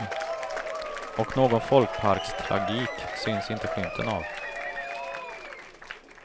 Och någon folkparkstragik syns inte skymten av.